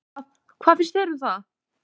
Hvað, hvað finnst þér um það?